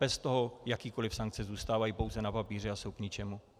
Bez toho jakékoliv sankce zůstávají pouze na papíře a jsou k ničemu.